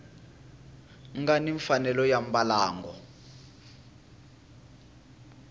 nga ni mfanelo ya mbalango